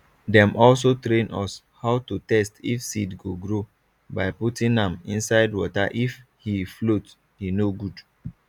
dem also train us how to test if seed go grow by putting am inside waterif he float he no good